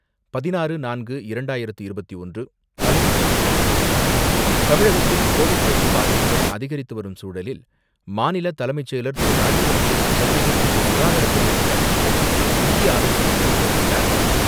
16.04.2021; தலைப்புச்செய்திகள்; தமிழகத்தில் கோவிட் தொற்று பாதிப்புகள் அதிகரித்துவரும் சூழலில், மாநில தலைமைச் செயலர் திரு.ராஜீவ்ரஞ்சன், சென்னையில் இன்று சுகாதாரத்துறை அதிகாரிகளுடன் முக்கிய ஆலோசனைகளை மேற்கொண்டார்.